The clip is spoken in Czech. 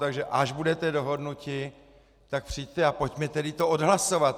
Takže až budete dohodnuti, tak přijďte a pojďme tedy to odhlasovat.